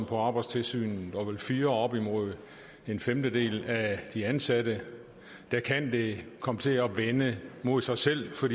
på arbejdstilsynet og vel fyrer op imod en femtedel af de ansatte kan det komme til at vende mod sig selv for